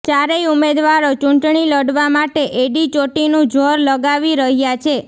ચારેય ઉમેદવારો ચૂંટણી લડવા માટે એડી ચોટીનું જોર લગાવી રહ્યા છે